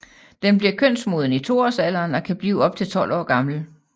Den bliver kønsmoden i 2 årsalderen og kan blive op til 12 år gammel